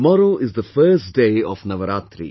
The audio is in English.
Tomorrow is the first day of Navaratri